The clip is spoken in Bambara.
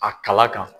A kala kan